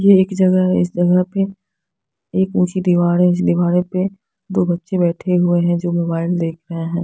यह एक जगह है इस जगह पर एक ऊंची दीवार है इस दीवारे पे दो बच्चे बैठे हुए हैं जो मोबाइल देख रहे हैं।